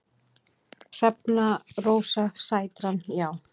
Hrefna Rósa Sætran: Já.